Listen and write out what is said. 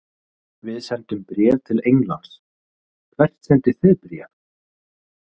Við sendum bréf til Englands. Hvert sendið þið bréf?